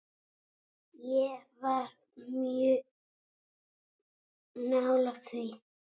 Ég var mjög nálægt því.